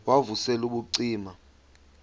wav usel ubucima